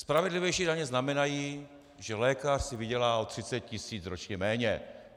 Spravedlivější daně znamenají, že lékař si vydělá o 30 tisíc ročně méně.